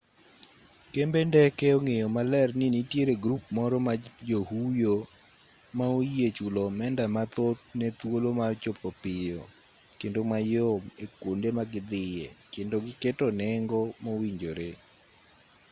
kembe ndeke ong'eyo maler ni nitiere grup moro mar johuyo ma oyie chulo omenda mathoth ne thuolo mar chopo piyo kendo mayom e kwonde ma gidhiye kendo giketo nengo mowinjore